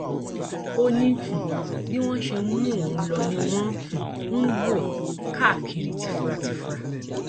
ó ní um bí wọn ṣe mú òun lò ni wọn um ń wò káàkiri tìfuratìfura